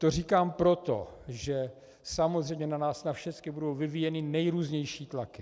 To říkám proto, že samozřejmě na nás na všecky budou vyvíjeny nejrůznější tlaky.